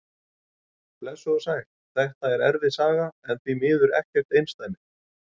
Blessuð og sæl, þetta er erfið saga en því miður ekkert einsdæmi.